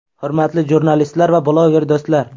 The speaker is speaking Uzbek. Hurmatli jurnalistlar va bloger do‘stlar!